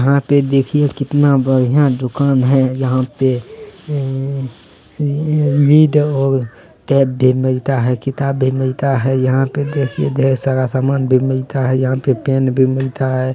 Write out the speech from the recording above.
यहाँ पे देखिये कितना बढ़िया दुकान है यहाँ पे भी मिलता है किताब भी मिलता है यहाँ पे देखिये ढेर सारा सामान भी मिलता है यहाँ पे पेन भी मिलता है।